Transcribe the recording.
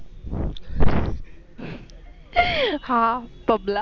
हा Pub ला.